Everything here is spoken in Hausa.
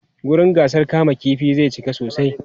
wurin gasar kama ƙifin zai cika sosai